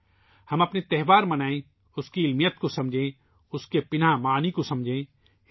آئیے ، ہم اپنے تہوار منائیں ، اس کی سائنسی اہمیت کو سمجھیں ، اس کے پس پشت معنی کو سمجھیں